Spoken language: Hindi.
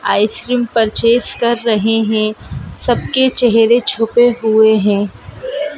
आइसक्रीम परचेस कर रहे हैं सबके चेहरे छुपे हुए हैं।